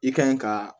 I kan ɲi ka